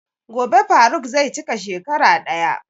Gobe faruq zai cika shekara ɗaya.